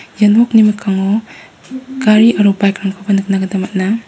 ia nokni mikkango gari aro bike-rangkoba nikna gita man·a.